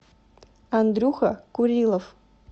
андрюха курилов